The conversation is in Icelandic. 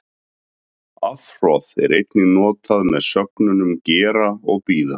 Afhroð er einnig notað með sögnunum gera og bíða.